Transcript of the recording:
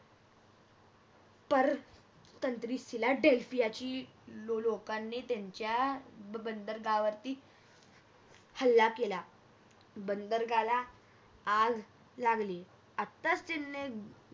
तर तंत्री सिला ढलसी याची लोकांनी त्यांच्या बंदर गावातही हल्ला केला बंदर्गाला आग लागली आताच त्यांने